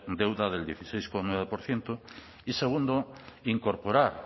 deuda del dieciséis coma nueve por ciento y segundo incorporar